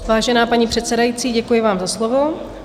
Vážená paní předsedající, děkuji vám za slovo.